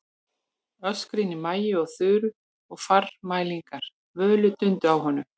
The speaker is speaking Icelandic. Öskrin í Maju og Þuru og formælingar Völu dundu á honum.